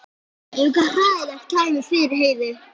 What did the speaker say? Ef eitthvað hræðilegt kæmi fyrir Heiðu?